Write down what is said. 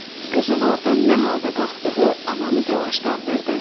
Qızın ordan nə halda qalxdığı ananı telaşlandırdı.